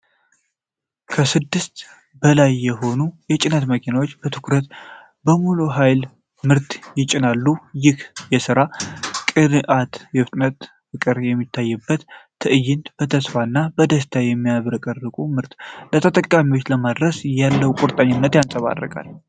ከስድስት በላይ የሆኑ ሰማያዊ የጭነት መኪናዎች በትኩረትና በሙሉ ኃይል ምርት ይጭናሉ። ይህ የሥራ ቅንዓትና የፍጥነት ፍቅር የሚታይበት ትዕይንት፣ በተስፋና በደስታ የሚጠብቁትን ምርት ለተጠቃሚዎች ለማድረስ ያለውን ቁርጠኝነት ያንጸባርቃል።